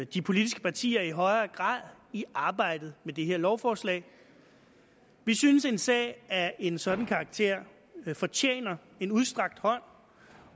de politiske partier i højere grad i arbejdet med det her lovforslag vi synes at en sag af en sådan karakter fortjener en udstrakt hånd